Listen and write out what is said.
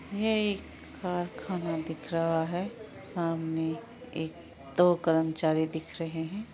ये एक कारखाना दिख रहा है सामने एक-- दो कर्मचारी दिख रहे हैं।